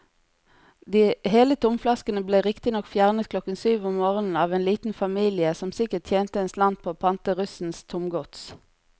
De hele tomflaskene ble riktignok fjernet klokken syv om morgenen av en liten familie som sikkert tjente en slant på å pante russens tomgods.